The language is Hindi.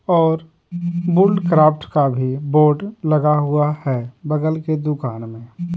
और बुल्ड क्राफ्ट का भी बोर्ड लगा हुआ है बगल के दुकान में--